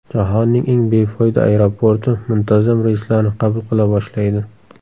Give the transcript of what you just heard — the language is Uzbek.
Jahonning eng befoyda aeroporti muntazam reyslarni qabul qila boshlaydi.